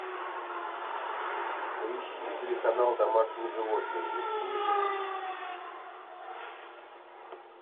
поищи телеканал домашние животные на телевизоре